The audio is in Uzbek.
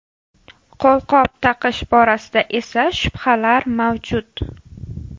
Qo‘lqop taqish borasida esa shubhalar mavjud.